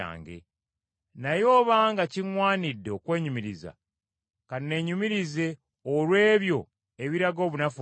Naye obanga kiŋŋwanidde okwenyumiriza, ka neenyumirize olw’ebyo ebiraga obunafu bwange!